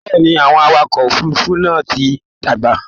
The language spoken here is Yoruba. Bẹ́ẹ̀̀ ni, àwọn awakọ òfurufú náà ti dàgbà